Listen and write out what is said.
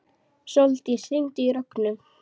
Sóldís, hringdu í Rögnu.